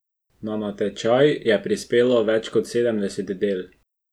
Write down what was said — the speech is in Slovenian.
Na natečaj je prispelo več kot sedemdeset del.